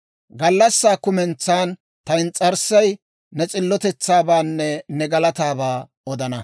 Gallassaa kumentsan ta ins's'arssay, ne s'illotetsaabaanne ne galataabaa odana.